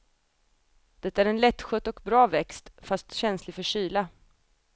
Det är en lättskött och bra växt, fast känslig för kyla.